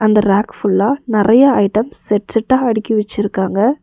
இந்த ரேக் ஃபுல்லா நெறயா ஐட்டம் செட் செட்டா அடுக்கி வச்சிருக்காங்க.